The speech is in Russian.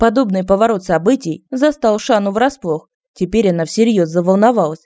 подобный поворот событий застал шану врасплох теперь она всерьёз заволновалась